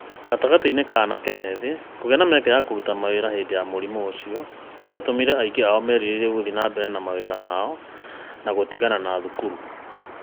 Gatagatĩ-inĩ ka anake ethĩ, kũgĩa na mĩeke ya kũruta wĩra hĩndĩ ya mũrimũ ũcio nĩ gwatũmire aingĩ ao merirĩrie gũthiĩ na mbere na mawĩra mao na gũtigana na cukuru.